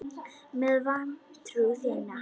Með vantrú þína.